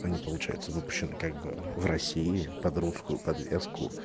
они получается выпущены как бы в россии под русскую подвеску